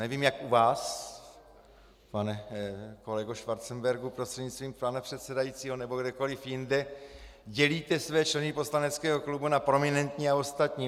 Nevím, jak u vás, pane kolego Schwarzenbergu prostřednictvím pana předsedajícího, nebo kdekoliv jinde dělíte své členy poslaneckého klubu na prominentní a ostatní.